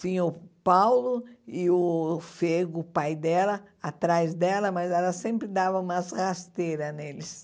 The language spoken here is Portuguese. Tinha o Paulo e o Fego, o pai dela, atrás dela, mas ela sempre dava umas rasteiras neles.